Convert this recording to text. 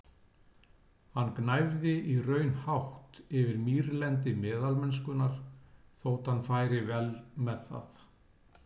Hann gnæfði í raun hátt yfir mýrlendi meðalmennskunnar, þótt hann færi vel með það.